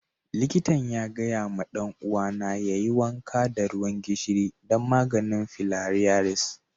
Likatan ya gaya ma dan uwa na yayi wanka da ruwan gishiri dan maganin filariasis.